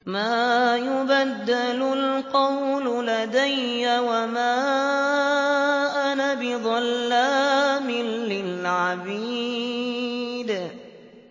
مَا يُبَدَّلُ الْقَوْلُ لَدَيَّ وَمَا أَنَا بِظَلَّامٍ لِّلْعَبِيدِ